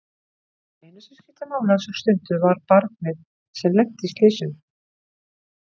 Það eina sem skipti máli á þessari stundu var barnið sem lenti í slysinu.